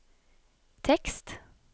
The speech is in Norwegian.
tekst